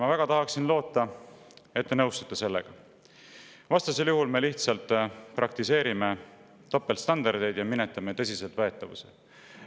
Ma väga tahaksin loota, et te nõustute sellega, vastasel juhul me lihtsalt praktiseerime topeltstandardeid ja minetame tõsiseltvõetavuse.